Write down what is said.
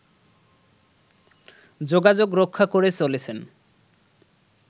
যোগাযোগ রক্ষা করে চলেছেন